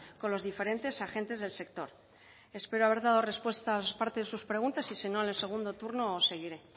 con los diferentes agentes del sector espero haber dado respuesta a parte de sus preguntas y si no en el segundo turno seguiré